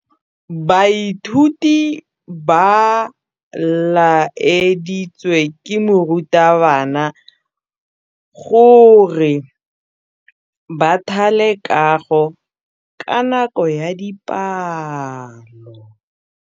Baithuti ba laeditswe ke morutabana gore ba thale kagô ka nako ya dipalô.